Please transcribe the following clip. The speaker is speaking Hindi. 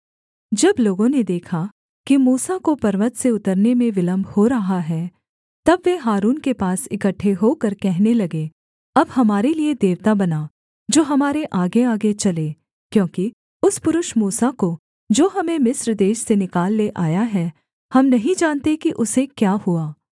जब लोगों ने देखा कि मूसा को पर्वत से उतरने में विलम्ब हो रहा है तब वे हारून के पास इकट्ठे होकर कहने लगे अब हमारे लिये देवता बना जो हमारे आगेआगे चले क्योंकि उस पुरुष मूसा को जो हमें मिस्र देश से निकाल ले आया है हम नहीं जानते कि उसे क्या हुआ